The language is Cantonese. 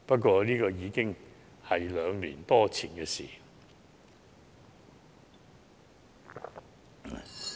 這已是兩年多前的事。